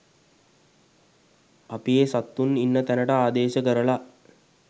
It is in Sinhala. අපි ඒ සත්තුන් ඉන්න තැනට ආදේශ කරලා.